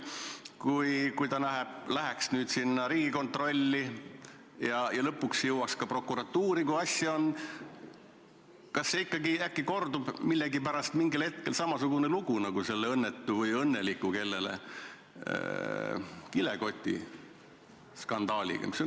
Kui see kontroll läheks nüüd Riigikontrolli kätte ja mõni asi lõpuks jõuaks ka prokuratuuri, kas ikkagi äkki kordub millegipärast mingil hetkel samasugune lugu, nagu oli selle õnnetu või õnneliku – kuidas kellele – kilekotiskandaaliga?